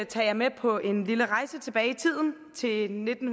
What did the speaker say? tage jer med på en lille rejse tilbage i tiden til nitten